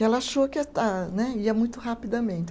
E ela achou que né, ia muito rapidamente.